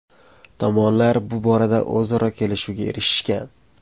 Tomonlar bu borada o‘zaro kelishuvga erishishgan.